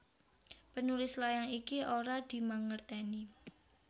Penulis layang iki ora dimangertèni